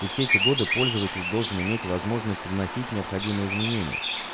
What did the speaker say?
и все эти годы пользователь должен иметь возможность вносить необходимые изменения